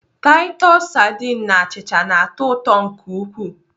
Taịtọs sadin na achịcha na-atọ ụtọ nke ukwuu.